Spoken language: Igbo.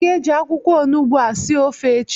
ị ga-eji akwụkwọ onugbu a sie ofe echi!